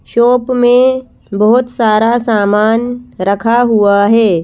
Shop में बहुत सारा सामान रखा हुआ है।